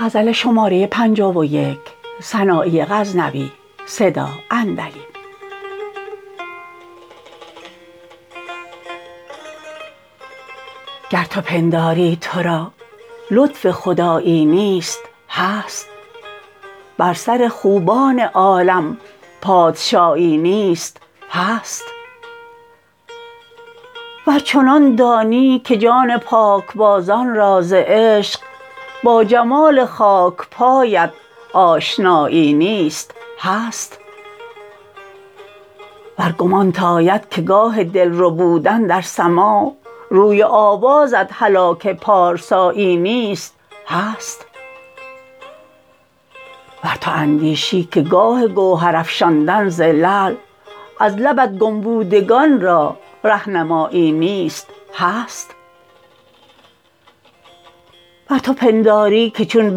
گر تو پنداری ترا لطف خدایی نیست هست بر سر خوبان عالم پادشایی نیست هست ور چنان دانی که جان پاکبازان را ز عشق با جمال خاکپایت آشنایی نیست هست ور گمانت آید که گاه دل ربودن در سماع روی و آوازت هلاک پارسایی نیست هست ور تو اندیشی که گاه گوهر افشاندن ز لعل از لبت گم بودگان را رهنمایی نیست هست ور تو پنداری که چون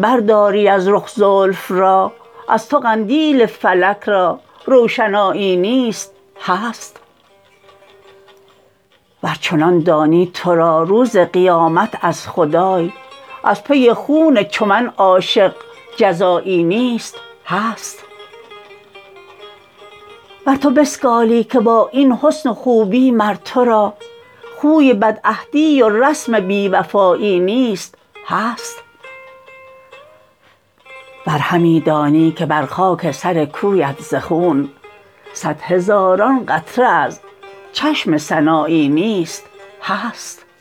برداری از رخ زلف را از تو قندیل فلک را روشنایی نیست هست ور چنان دانی ترا روز قیامت از خدای از پی خون چو من عاشق جزایی نیست هست ور تو بسگالی که با این حسن و خوبی مر ترا خوی بد عهدی و رسم بی وفایی نیست هست ور همی دانی که بر خاک سر کویت ز خون صد هزاران قطره از چشم سنایی نیست هست